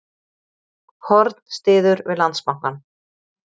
Horn styður við Landsbankann